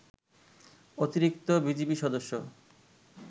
অতিরিক্ত বিজিবি সদস্য